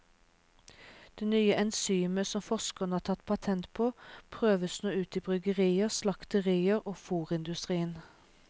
Det nye enzymet, som forskerne har tatt patent på, prøves nå ut i bryggerier, slakterier og i fôrindustrien.